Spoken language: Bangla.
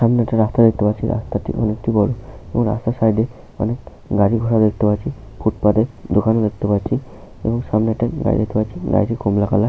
সামনে একটা রাস্তা দেখতে পাচ্ছি রাস্তাটি অনেক বড় এবং রাস্তার সাইডে অনেক গাড়ি ঘোড়া দেখতে পাচ্ছি। ফুটপাথে দোকানও দেখতে পাচ্ছি। সামনে একটা গাড়ি দেখতে পাচ্ছি। গাড়িটি কমলা কালার ।